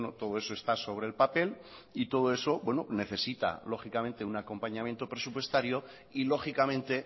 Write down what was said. todo eso está sobre el papel y todo eso bueno necesita lógicamente un acompañamiento presupuestario y lógicamente